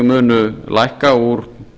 munu lækka úr